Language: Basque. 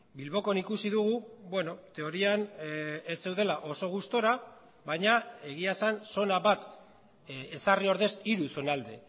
bilbokoan ikusi dugu bueno teorian ez zeudela oso gustura baina egia esan zona bat ezarri ordez hiru zonalde